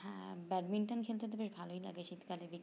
হ্যাঁ badminton খেলতে তো বেশ ভালোই লাগে শীতকালে